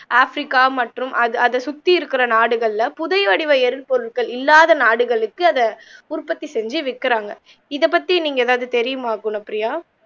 africa மற்றும் அத அத சுற்றி இருக்கிற நாடுகள்ல புதை வடிவ எறிள் பொருற்கள் இல்லாத நாடுகளுக்கு அத உற்பத்தி செஞ்சி விக்குறாங்க இதப்பத்தி நீங்க எதாவது தெரியுமா குனப்பியா